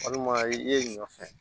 Walima i ye ɲɔ fɛ